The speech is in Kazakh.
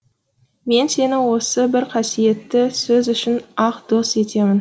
мен сені осы бір қасиетті сөз үшін ақ дос етемін